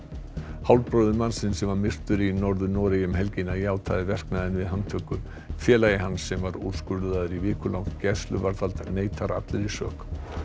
hálfbróðir mannsins sem var myrtur í Norður Noregi um helgina játaði verknaðinn við handtöku félagi hans sem var úrskurðaður í vikulangt gæsluvarðhald neitar allri sök